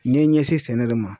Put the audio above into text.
N ye ɲɛsin sɛnɛ de ma.